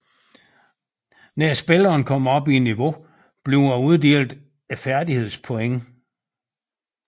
Når spilleren kommer op i niveau bliver der uddelt et færdigheds point